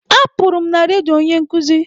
Apụrụ m na redio onye nkuzi.